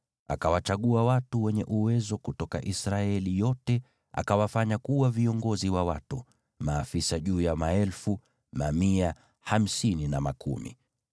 Mose akawachagua watu wenye uwezo kutoka Israeli yote, akawafanya kuwa viongozi wa watu, maafisa juu ya maelfu, mamia, hamsini na makumi.